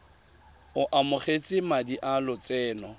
o amogetse madi a lotseno